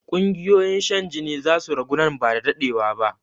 Ƙungiyoyin shan jini zasu ragu nan ba da daɗewa ba